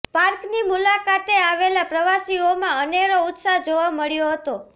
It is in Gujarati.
પાર્કની મુલાકાતે આવેલા પ્રવાસીઓમાં અનેરો ઉત્સાહ જોવા મળ્યો હતો